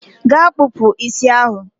gaa kpụpụ isi ahụ!